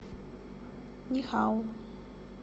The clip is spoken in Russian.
нихао